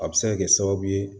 A bɛ se ka kɛ sababu ye